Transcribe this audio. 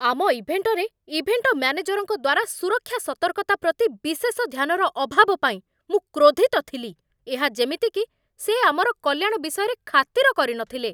ଆମ ଇଭେଣ୍ଟରେ ଇଭେଣ୍ଟ ମ୍ୟାନେଜରଙ୍କ ଦ୍ୱାରା ସୁରକ୍ଷା ସତର୍କତା ପ୍ରତି ବିଶେଷ ଧ୍ୟାନର ଅଭାବ ପାଇଁ ମୁଁ କ୍ରୋଧିତ ଥିଲି। ଏହା ଯେମିତି କି ସେ ଆମର କଲ୍ୟାଣ ବିଷୟରେ ଖାତିର କରିନଥିଲେ!